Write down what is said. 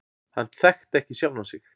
Hann þekki ekki sjálfan sig.